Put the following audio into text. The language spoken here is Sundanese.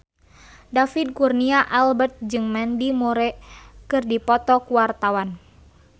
David Kurnia Albert jeung Mandy Moore keur dipoto ku wartawan